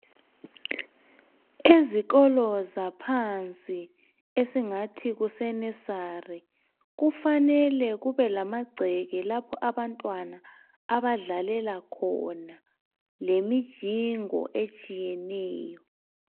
Ezikolo zaphansi esingathi kuse "nursery" kufanele kube lamagceke lapho abantwana abadlalela khona lemijingo etshiyeneyo.